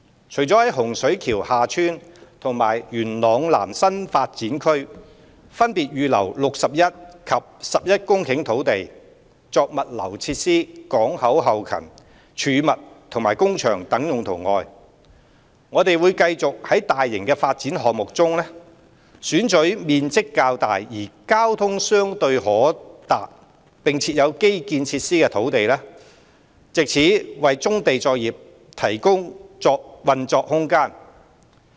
除在洪水橋/廈村及元朗南新發展區分別預留約61及11公頃土地，作物流設施、港口後勤、貯物及工場等用途外，我們會繼續從大型發展項目中，選取面積較大而交通相對可達並設有基建設施的土地，藉此為棕地作業提供運作空間。